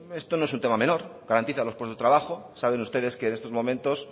esto no es un tema menor garantiza los puestos de trabajo saben ustedes que en estos momentos